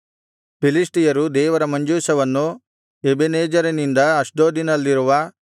ಫಿಲಿಷ್ಟಿಯರು ದೇವರ ಮಂಜೂಷವನ್ನು ಎಬೆನೆಜೆರಿನಿಂದ ಅಷ್ಡೋದಿನಲ್ಲಿರುವ